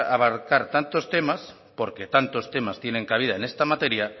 abarcar tantos temas porque tantos temas tienen cabida en esta materia